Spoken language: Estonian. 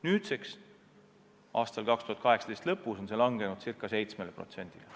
2018. aasta lõpuks langes see ca 7%-ni.